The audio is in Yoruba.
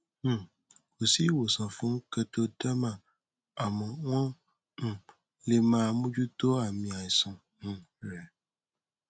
um kò sí ìwòsàn fún kertoderma àmọ wọn um lè máa mójútó àmì àìsàn um rẹ